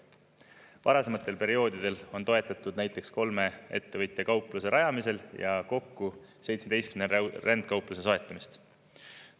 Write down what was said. Varasematel perioodidel on toetatud näiteks kolme ettevõtja kaupluse rajamisel ja kokku 17 rändkaupluse soetamist.